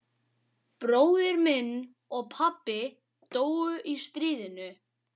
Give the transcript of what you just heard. Bróðir minn og pabbi dóu í stríðinu.